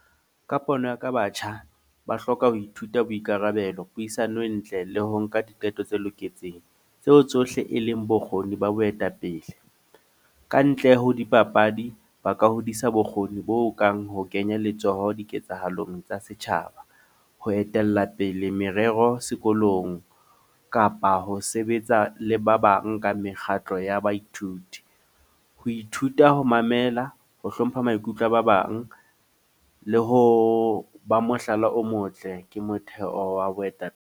Ka pono ya ka batjha ba hloka ho ithuta boikarabelo, puisano e ntle le ho nka diqeto tse loketseng. Tseo tsohle e leng bokgoni ba boetapele. Ka ntle ho dipapadi. Ba ka hodisa bokgoni bo kang ho kenya letsoho diketsahalong tsa setjhaba. Ho etella pele merero sekolong. Kapa ho sebetsa le ba bang ka mekgatlo ya baithuti. Ho ithuta ho mamela, ho hlompha maikutlo a ba bang. Le ho ba mohlala o motle. Ke motheo wa boetapele.